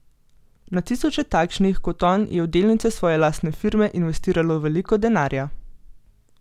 Na tisoče takšnih kot on je v delnice svoje lastne firme investiralo veliko denarja.